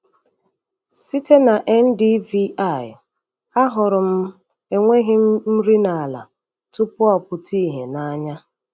Site na NDVI, ahụrụ m enweghị nri n’ala tupu ọ pụta ìhè n’anya.